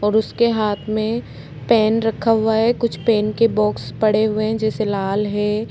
और उसके हाथ में पेन रखा हुआ है कुछ पेन के बॉक्स पड़े हुए हैं जैसे लाल हैं।